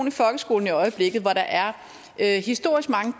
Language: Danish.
i folkeskolen i øjeblikket hvor der er er historisk mange